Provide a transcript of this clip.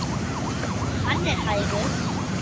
Hann er hægur.